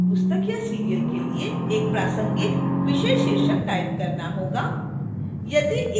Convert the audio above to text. आपको अपनी पुस्तक या सीरियल के लिए एक प्रासंगिक विषय शीर्षक टाइप करना होगा